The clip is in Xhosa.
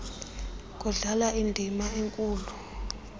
kudlala indima enkulu